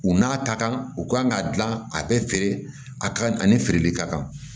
U n'a ta kan u kan k'a dilan a bɛ feere a ka kan ani feereli ka kan